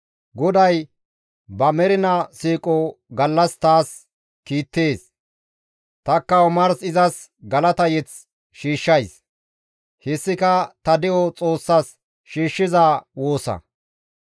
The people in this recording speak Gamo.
GODAY ba mernaa siiqo gallas taas kiittees. Tanikka omars izas galata mazamure shiishshays; hessika ta de7o Xoossas shiishshiza woosa.